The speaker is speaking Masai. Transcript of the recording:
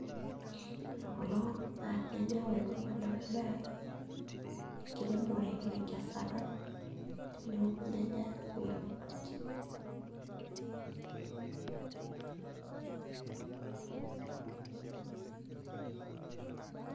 Ore kulo naa ilnyanya ore entoki nadamu naa enkiremore onkesata teneoku ilnyanya nitauni tolchamba.